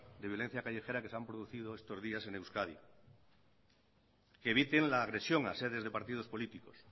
de violencia callejera que se han producido estos días en euskadi que eviten la agresión a sedes de partido políticos